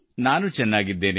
ನಾನು ಚೆನ್ನಾಗಿದ್ದೇನೆ